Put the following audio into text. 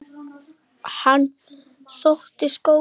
Hann þóttist góður.